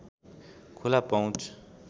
खुला पहुँच